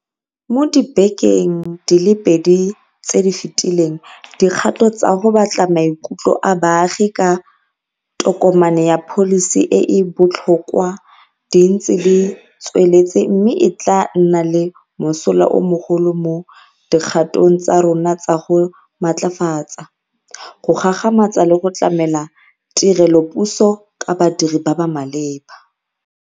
Mo dibekeng di le pedi tse di fetileng dikgato tsa go batla maikutlo a baagi ka tokomane ya pholisi e e botlhokwa di ntse di tsweletse mme e tla nna le mosola o mogolo mo dikgatong tsa rona tsa go matlafatsa, go gagamatsa le go tlamela tirelopuso ka badiri ba ba maleba.